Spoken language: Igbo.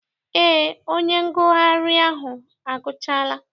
Eé, onye ngụgharị ahụ agụchaala.